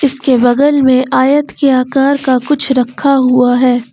इसके बगल में आयत के आकार का कुछ रखा हुआ है।